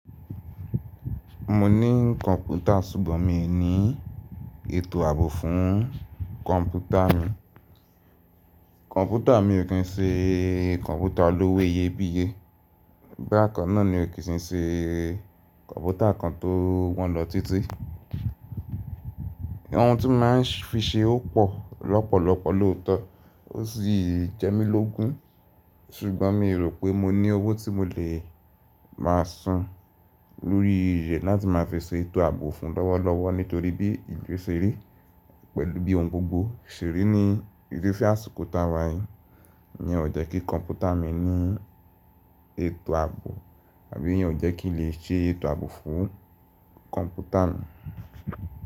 Mo ní kọ̀npútà ṣùgbọ́n mi ò ní ètò ààbò fún kọ̀npútà mi. Kọ̀npútà mi ò kí ń ṣe kọ̀npútà olówó iyebíye, bákan náà ni ó kì í ṣe kọ̀npútà kan tó wọ́n lọ títí. Ọ̀hun tí màá fi ṣe ó pò lọ́pọ̀lọpọ̀ lóòótọ́ ó sì jẹ́ mí lógún ṣùgbọ́n mi rò pé mo ní owó tí mo lè máa san lórí rẹ̀ láti máa fi ṣe ètò ààbò fún lọ́wọ́lọ́wọ́ nítorí bí ìlú ṣe rí pẹ̀lú bí ohun gbogbo ṣe rí ní ìdí fẹ́ àsìkò tàwàì ní ọ̀ jẹ́ kí kọ̀npútà mi ní ètò ààbò àbí yen ọ̀ jẹ́ kí n lè ṣe ètò ààbò fún kọ̀npútà mi.